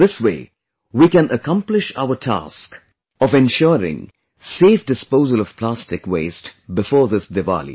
This way we can accomplish our task of ensuring safe disposal of plastic waste before this Diwali